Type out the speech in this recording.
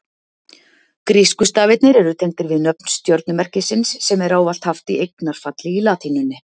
Grísku stafirnir eru tengdir við nöfn stjörnumerkisins sem er ávallt haft í eignarfalli í latínunni.